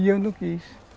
E eu não quis.